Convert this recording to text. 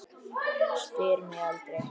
Spyr mig aldrei.